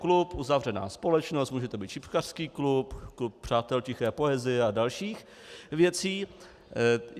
Klub, uzavřená společnost, může to být šipkařský klub, klub přátel tiché poezie a dalších věcí.